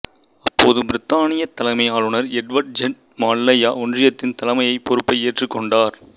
அப்போதைய பிரித்தானியத் தலைமை ஆளுநர் எட்வர்ட் ஜெண்ட் மலாயா ஒன்றியத்தின் தலைமைப் பொறுப்பை ஏற்றுக் கொண்டார்